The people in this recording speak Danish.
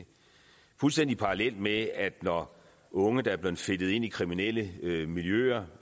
fuldstændig parallelt med at når unge der er blevet fedtet ind i kriminelle miljøer